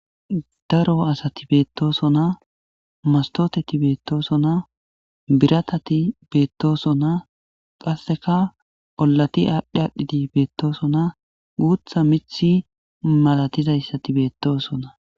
daro asati beettosona mastoteti beettoosona biratati beettoosona qasseka ollati aadhdhi aadhdhidi beettoosona guutha mithi malatizayssati beettoosona